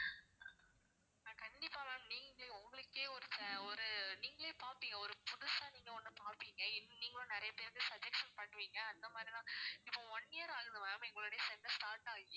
ஆஹ் கண்டிப்பா ma'am நீங்களே உங்களுக்கே ஒரு நீங்களே பாப்பீங்க ஒரு புதுசா நீங்க ஒண்ண பாப்பீங்க நீங்களும் நிறைய பேருக்கு suggestion பண்ணுவீங்க அந்த மாதிரி தான் இப்போ one year ஆகுது ma'am எங்களுடைய center start ஆகி